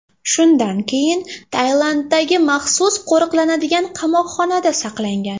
Shundan keyin Tailanddagi maxsus qo‘riqlanadigan qamoqxonada saqlangan.